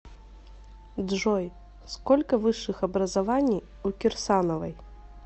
джой сколько высших образований у кирсановой